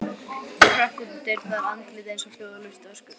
Hún hrökk út um dyrnar, andlitið eins og hljóðlaust öskur.